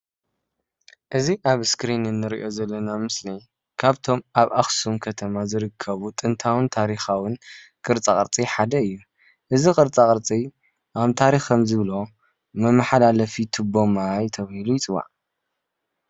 እዚ ኣብ እስኪሪን እንሪኦ አለና ምስሊ ካብቶም ኣብ ኣብ አክሱም ከተማ ዝርከቡ ጥንታውን ታሪካውን ቅርፃቅፂ ሓደ እዩ፡፡ እዚ ቅርፃ ቅርፂ ኣብ ታሪክ ከም ዝብሎ መማሓላለፊ ትቦ ማይ ተባሂሉ ይፅዋዕ፡፡